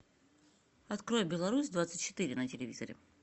открой беларусь двадцать четыре на телевизоре